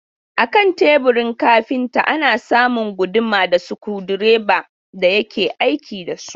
A kan teburin kafinta ana samun guduma da sikurudireba da yake aiki da su.